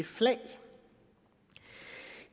flag